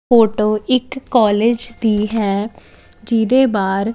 photo ਇੱਕ college ਦੀ ਹੈ ਜਿਹਦੇ ਬਾਹਰ --